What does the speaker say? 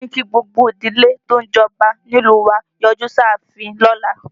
Wọ́n ní kí gbogbo ìdílé tó ń jọba nílùú wa ó yọjú sí ààfin lọ́la